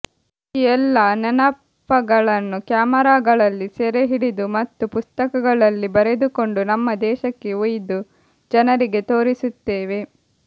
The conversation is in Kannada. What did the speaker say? ಈ ಎಲ್ಲ ನೆನಪಗಳನ್ನು ಕ್ಯಾಮೆರಾಗಳಲ್ಲಿ ಸೆರೆ ಹಿಡಿದು ಮತ್ತು ಪುಸ್ತಕಗಳಲ್ಲಿ ಬರೆದುಕೊಂಡು ನಮ್ಮ ದೇಶಕ್ಕೆ ಒಯ್ದು ಜನರಿಗೆ ತೋರಿಸುತ್ತೇವೆ